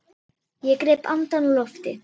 Ég greip andann á lofti.